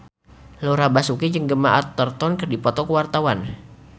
Laura Basuki jeung Gemma Arterton keur dipoto ku wartawan